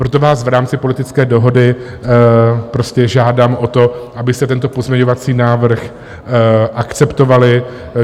Proto vás v rámci politické dohody prostě žádám o to, abyste tento pozměňovací návrh akceptovali.